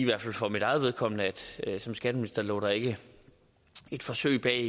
hvert fald for mit eget vedkommende sige at som skatteminister lå der ikke et forsøg bag